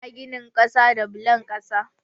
Ana ginin kasa da bulon kasa.